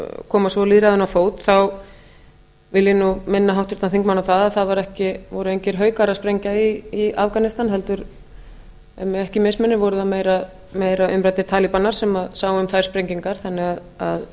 koma svo lýðræðinu á fót vil ég nú minna háttvirtan þingmann á það að voru engir haukar að sprengja í afganistan heldur ef mig ekki misminnir voru það meira umræddir talibanar sem sáu um þær sprengingar til að